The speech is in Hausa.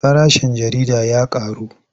Farashin jarida ya ƙaru.